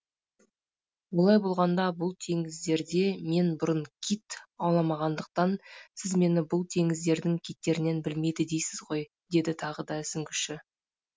олай болғанда бұл теңіздерде мен бұрын кит ауламағандықтан сіз мені бұл теңіздердің киттерінен білмейді дейсіз ғой деді тағы да сүңгіші